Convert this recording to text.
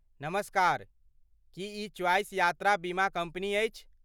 नमस्कार, की ई चॉइस यात्रा बीमा कम्पनी अछि?